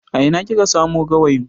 A ina kika samu gawayin?